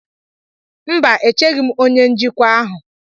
Mba, echeghị m onye njikwa ahụ.